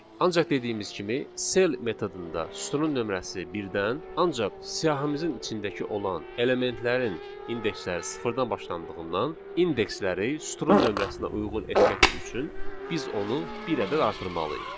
Ancaq dediyimiz kimi sell metodunda sütunun nömrəsi birdən, ancaq siyahımızın içindəki olan elementlərin indeksləri sıfırdan başlandığından indeksləri sütunun nömrəsinə uyğun etmək üçün biz onu bir ədəd artırmalıyıq.